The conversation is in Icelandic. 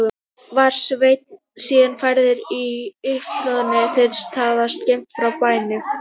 Var Sveinn síðan færður í uppþornaðan brunn sem þar var skammt frá bænum.